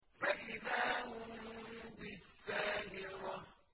فَإِذَا هُم بِالسَّاهِرَةِ